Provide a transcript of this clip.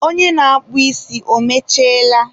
onye na-akpụ ísí, o mechiela?